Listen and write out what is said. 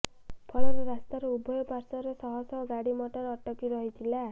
ଫଳରେ ରସ୍ତାର ଉଭୟ ପାସ୍ୱରେ ଶହଶହ ଗାଡି ମଟର ଅଟକି ରହିଥିଲା